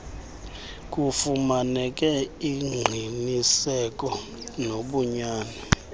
kufumaneke ingqiniseko ngobunyani